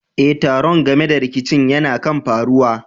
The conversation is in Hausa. Eh, taron game da rikicin yana kan faruwa.